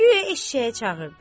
Guya eşşəyi çağırdı.